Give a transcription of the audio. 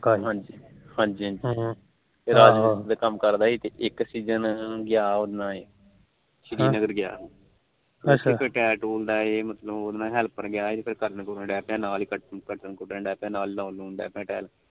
ਰਾਜ ਮਿਸਤਰੀ ਦਾ ਕੰਮ ਕਰਦਾ ਸੀ ਇੱਕ ਸੀਜਨ ਗਿਆ ਉਹਦੇ ਨਾਲ ਸ਼੍ਰੀ ਨਗਰ ਗਿਆ ਅੱਛਾ ਉਥੇ ਫਿਰ ਟੈਲ ਟੂਲ ਦਾ helper ਗਿਆ ਸੀ ਫਿਰ ਕਰਨ ਕਰਨ ਡਿਆ ਸੀ ਫਿਰ ਨਾਲ ਹੀ ਕੱਟਣ ਕੁਟਣ ਪਿਆ ਤੇ ਲਾਉਣ ਲੱਗ ਪਿਆ